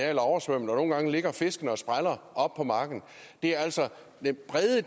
er oversvømmet og nogle gange ligger fiskene og spræller oppe på marken det er altså et bredt